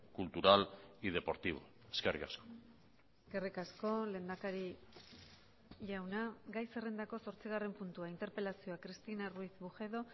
cultural y deportivo eskerrik asko eskerrik asko lehendakari jauna gai zerrendako zortzigarren puntua interpelazioa cristina ruiz bujedo